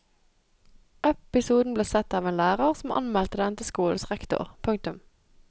Episoden ble sett av en lærer som anmeldte den til skolens rektor. punktum